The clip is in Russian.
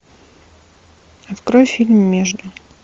открой фильм между